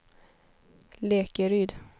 Lekeryd